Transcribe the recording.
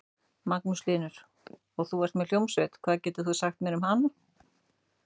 Magnús Hlynur: Og þú ert með hljómsveit, hvað getur þú sagt mér um hana?